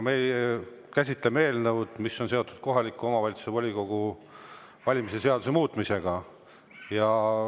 Me käsitleme eelnõu, mis on seotud kohaliku omavalitsuse volikogu valimise seaduse muutmisega.